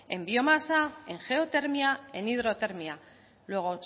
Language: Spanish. en biomasa en geotermia en hidrotermia luego